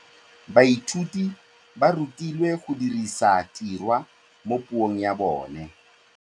Baithuti ba rutilwe go dirisa tirwa mo puong ya bone.